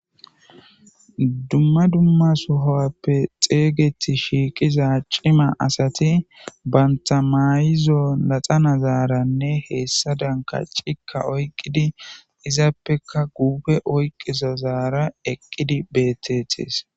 dumma dumma sohowappe xeygeti shiiqiza cima asati banta mayizo laxana zaaranne heessa dan ka cikka oyqqidi izaappeka guufe oyqqizo zaara eqqidi betetees